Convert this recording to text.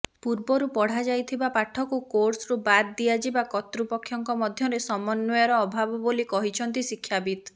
ପୂର୍ବରୁ ପଢା ଯାଇଥିବା ପାଠକୁ କୋର୍ସରୁ ବାଦ୍ ଦିଆଯିବା କର୍ତ୍ତୃପକ୍ଷଙ୍କ ମଧ୍ୟରେ ସମନ୍ୱୟର ଅଭାବ ବୋଲି କହିଛନ୍ତି ଶିକ୍ଷାବିତ